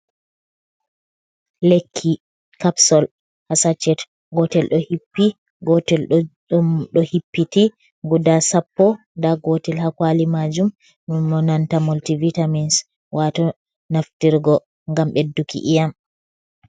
Lekki kapsol haa saacet, gootel ɗo hippi, gootel ɗo hippiti, guda sappo. Ndaa gootel haa kuwali maajum, ɗum monanta moltivitamins, waato naftirgo ngam ɓedduki ƴii'am.